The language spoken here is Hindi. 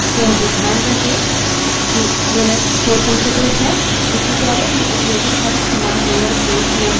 इस tutorial में उपयोगित सभी commands lower case अन्यथा कथित हैं